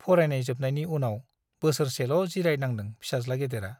फरायनाय जोबनायनि उनाव बोसोरसेल' जिरायनांदों फिसाज्ला गेदेरा ।